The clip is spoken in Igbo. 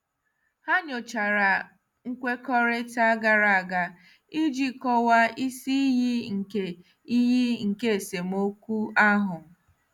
Ha nyochara nkwekọrịta gara aga iji kọwaa isi iyi nke iyi nke esemokwu ahụ.